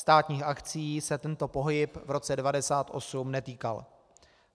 Státních akcií se tento pohyb v roce 1998 netýkal.